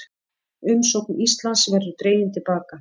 Umsókn Íslands verði dregin til baka